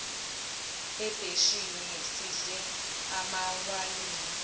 ebheshini sidle amawayini